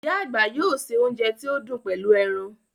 Íyá àgbà yóò ṣe ounjẹ tí ó dùn pẹlú ẹran